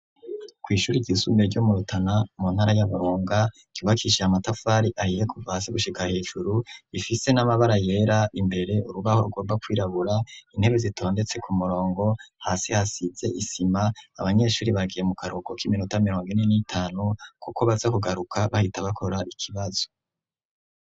Kw'ishuri ry'isumbuye ryo murutana mu ntara y'aburunga, ryubakishije amatafari ahiye kuvasi gushika hejuru, ifise n'amabara yera imbere urubaho rugomba kwirabura intebe zitondetse ku murongo hasi hasize isima, abanyeshuri bagiye mu karuko k'iminota mirongo ine n'itanu, kuko baza kugaruka bahita bakora ikibazo.